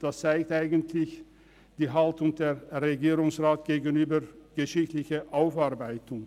Das zeigt eigentlich die Haltung des Regierungsrats gegenüber geschichtlichen Aufarbeitungen.